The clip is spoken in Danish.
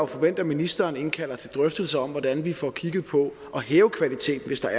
forvente at ministeren indkalder til drøftelser om hvordan vi får kigget på at hæve kvaliteten hvis der